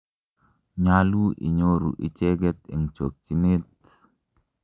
nyalu inyoru icheget en chokyinet